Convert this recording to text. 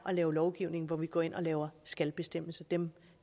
lave lovgivning hvor vi går ind og laver skal bestemmelser dem